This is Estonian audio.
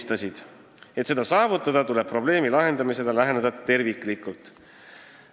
Ja selleks, et seda saavutada, tuleb probleemi lahendamisele läheneda terviklikult.